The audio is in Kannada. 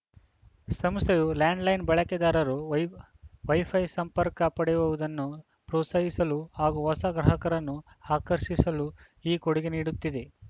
ಸಂಸ್ಥೆಯು ಲ್ಯಾಂಡ್‌ಲೈನ್‌ ಬಳಕೆದಾರರು ವೈ ವೈಫೈ ಸಂಪರ್ಕ ಪಡೆಯುವುದನ್ನು ಪ್ರೋಸಾಹಿಸಲು ಹಾಗೂ ಹೊಸ ಗ್ರಾಹಕರನ್ನು ಆಕರ್ಷಿಸಲು ಈ ಕೊಡುಗೆ ನೀಡುತ್ತಿದೆ